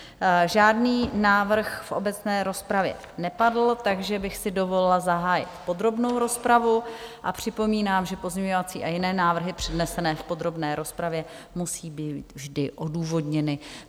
Žádný návrh v obecné rozpravě nepadl, takže bych si dovolila zahájit podrobnou rozpravu a připomínám, že pozměňovací a jiné návrhy přednesené v podrobné rozpravě musí být vždy odůvodněny.